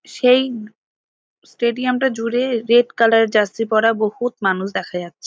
সেই স্টেডিয়াম -টা জুড়ে রেড কালার জার্সি পড়া বহুত মানুষ দেখা যাচ্ছে।